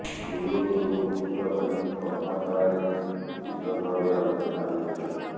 ହୃଦ ରୋଗରୁ ବର୍ତିବା ପାଇଁ କର୍ମଶାଳାରେ ବିଶଦଭାବେ ଆଲୋଚନା ହୋଇଥିଲା